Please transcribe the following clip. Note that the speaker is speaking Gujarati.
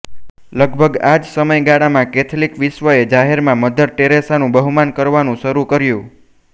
લગભગ આ જ સમયગાળામાં કૅથલિક વિશ્વે જાહેરમાં મધર ટેરેસાનું બહુમાન કરવાનું શરૂ કર્યું